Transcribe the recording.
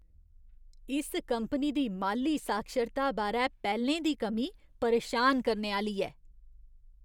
इस कंपनी दी माल्ली साक्षरता बारै पैह्लें दी कमी परेशान करने आह्‌ली ऐ।